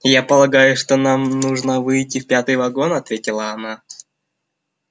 я полагаю что нам нужно выйти в пятый вагон ответила она